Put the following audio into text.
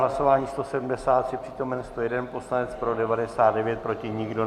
Hlasování 173, přítomen 101 poslanec, pro 99, proti nikdo.